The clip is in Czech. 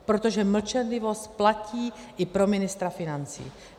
Protože mlčenlivost platí i pro ministra financí.